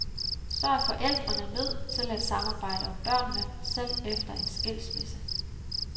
Så er forældrene nødt til at samarbejde om børnene, selv efter en skilsmisse.